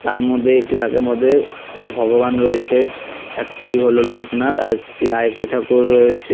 তার মদ্যে একটি তাকের মদ্যে ভগবান রয়েছে একটি হলো লোকনাথ আরেকটি আরেকটি ঠাকুরও রয়েছে।